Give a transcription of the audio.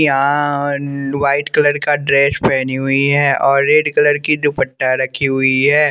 यहाँ white colour का dress पहनी हुई है और रेड कलर की दुपट्टा रखी हुई है।